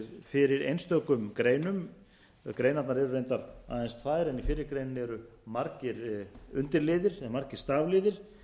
fyrir einstökum greinum greinarnar eru reyndar aðeins tvær en í fyrri greininni eru margir undirliðir eða margir stafliðir